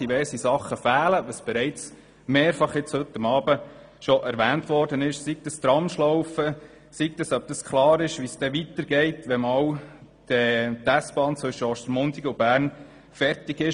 Wie heute Abend mehrfach erwähnt worden ist, fehlen diverse Sachen, sei es die Tramschlaufe, sei es, ob das weitere Vorgehen klar ist, wenn die S-Bahn Ostermundigen–Bern fertig ist.